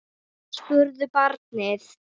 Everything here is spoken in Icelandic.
spurði barnið.